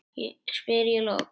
spyr ég loks.